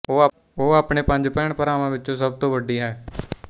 ਉਹ ਆਪਣੇ ਪੰਜ ਭੈਣਭਰਾਵਾਂ ਵਿੱਚੋਂ ਸਭ ਤੋਂ ਵੱਡੀ ਹੈ